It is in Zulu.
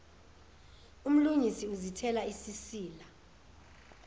umlungisi uzithela isisila